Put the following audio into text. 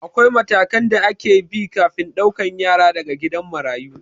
Akwai matakan da ake bi kafin ɗaukan yara daga gidan marayu